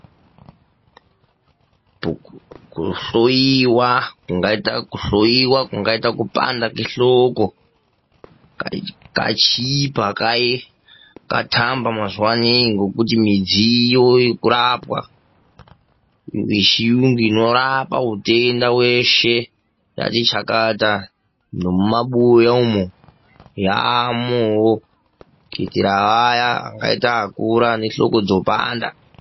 Kuhloiwa kungaita kupanda kwehloko pachii pakaye pakatamba mazuva anawa midziyo yekurapwa yechiyungu inorapa hutenda hweshe dzati chakata nemumabuya umu yamowo kuitira vaya vangaita vakura ane hloko dzopanda.